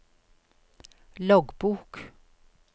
loggbok